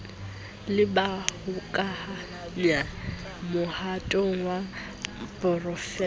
le bahokahanyi mohatong wa porofense